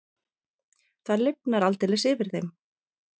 Það lifnar aldeilis yfir þeim.